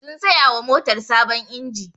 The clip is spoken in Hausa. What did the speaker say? Sun saya wa motar sabon inji